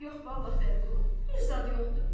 Yox vallah Vəliqulu, bir zad yoxdur.